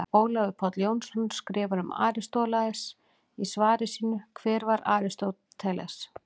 Ólafur Páll Jónsson skrifar um Aristóteles í svari sínu Hver var Aristóteles?